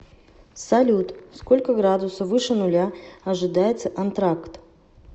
салют сколько градуса выше нуля ожидается антракт